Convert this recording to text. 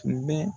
Tun bɛ